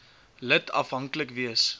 lid afhanklik wees